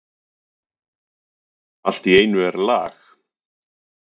Allt í einu er lag